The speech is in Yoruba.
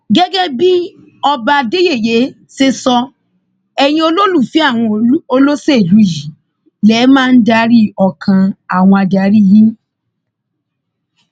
gẹgẹ bí ọba adéyẹyẹ ṣe sọ ẹyin olólùfẹ àwọn olóṣèlú yìí lè máa ń darí ọkàn àwọn adarí yín